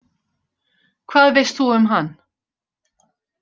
Hvað veist þú um hann?